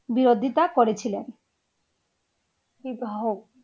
বিরোধিতা করেছিলেন